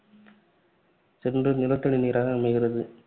சென்று நிலத்தடிநீராக அமைகிறது.